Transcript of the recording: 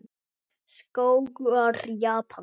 Skógar Japans